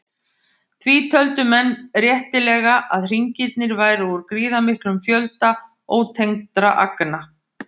Því töldu menn réttilega að hringirnir væru úr gríðarmiklum fjölda ótengdra agna.